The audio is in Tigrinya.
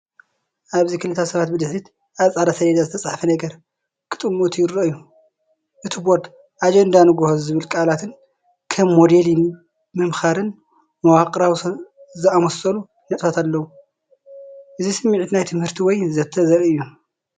ኣብዚ ክልተ ሰባት ብድሕሪት ኣብ ጻዕዳ ሰሌዳ ዝተጻሕፈ ነገር ክጥምቱ ይረኣዩ። እቲ ቦርድ “ኣጀንዳ ንግሆ” ዝብሉ ቃላትን ከም “ሞዴሊንግ”፣ “ምምኽኻር”፣ “መዋቕራዊ” ዝኣመሰሉ ነጥብታትን ኣለው። እዚ ስሚዒት ናይ ትምህርቲ ወይ ዘተ ዘርኢ እዩ።